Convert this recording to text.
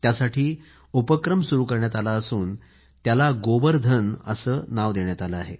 यासाठी उपक्रम सुरु करण्यात आला असून त्याला गोबर धन असे नाव देण्यात आलं आहे